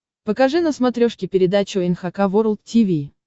покажи на смотрешке передачу эн эйч кей волд ти ви